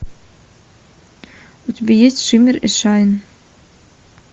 у тебя есть шиммер и шайн